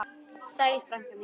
Sæl frænka mín.